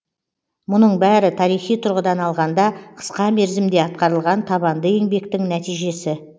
мұның бәрі тарихи тұрғыдан алғанда қысқа мерзімде атқарылған табанды еңбектің нәтижесі